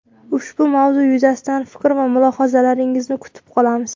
Ushbu mavzu yuzasidan fikr va mulohazalaringizni kutib qolamiz.